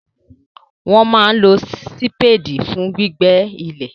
Wọ́n máa n lo sípédì fún gbígbẹ́ ilẹ̀